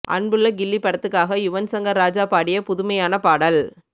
அன்புள்ள கில்லி படத்துக்காக யுவன் சங்கர் ராஜா பாடிய புதுமையான பாடல்